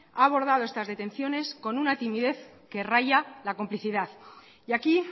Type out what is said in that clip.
ha abordado estas detenciones con una timidez que raya la complicidad y aquí